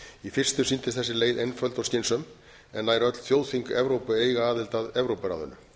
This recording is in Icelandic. í fyrstu sýndist þessi leit einföld og skynsöm en nær öll þjóðþing evrópu eiga aðild að evrópuráðinu